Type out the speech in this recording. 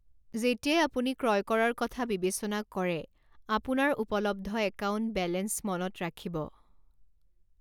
যেতিয়াই আপুনি ক্ৰয় কৰাৰ কথা বিবেচনা কৰে, আপোনাৰ উপলব্ধ একাউণ্ট বেলেন্স মনত ৰাখিব।